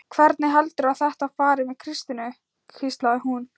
Hvernig heldurðu að þetta fari með Kristínu? hvíslaði hún.